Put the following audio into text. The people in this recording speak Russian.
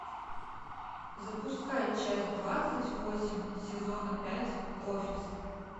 запускай часть двадцать восемь сезона пять офис